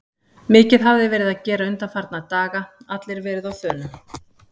Mikið hafði verið að gera undanfarna daga, allir verið á þönum.